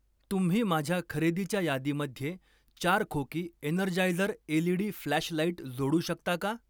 तुम्ही माझ्या खरेदीच्या यादीमध्ये चार खोकी एनर्जायझर एलईडी फ्लॅशलाइट जोडू शकता का?